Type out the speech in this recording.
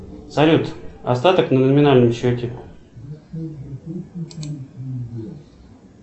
салют остаток на номинальном счете